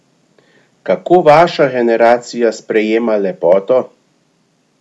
Kako vaša generacija sprejema lepoto?